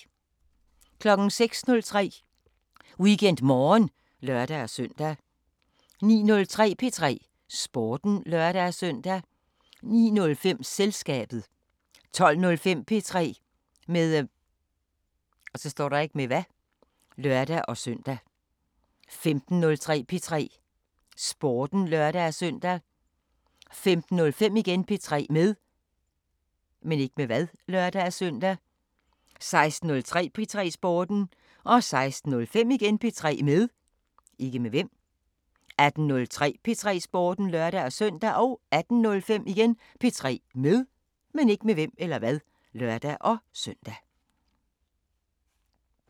06:03: WeekendMorgen (lør-søn) 09:03: P3 Sporten (lør-søn) 09:05: Selskabet 12:05: P3 med (lør-søn) 15:03: P3 Sporten (lør-søn) 15:05: P3 med (lør-søn) 16:03: P3 Sporten 16:05: P3 med 18:03: P3 Sporten (lør-søn) 18:05: P3 med (lør-søn)